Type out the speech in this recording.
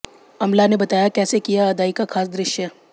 अमला ने बताया कैसे किया अदाई का खास दृश्य